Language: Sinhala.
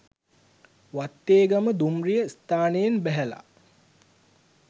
වත්තේගම දුම්රිය ස්ථානයෙන් බැහැල